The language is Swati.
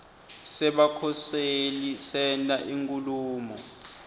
sebakhoseli senta inkhulumo